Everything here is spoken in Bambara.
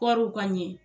Kɔɔriw ka ɲɛ